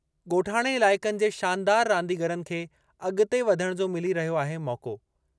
ॻोठाणे इलाइक़नि जे शानदार रांदीगरनि खे अगि॒ते वधण जो मिली रहियो आहे मौक़ो।